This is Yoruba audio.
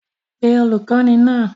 Pe olùkọ́ní náà!